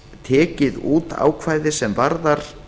tekið út ákvæði sem varðar